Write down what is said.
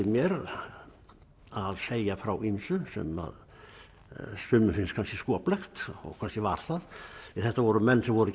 mér að segja frá ýmsu sem að sumum finnst kannski skoplegt og kannski var það þetta voru menn sem voru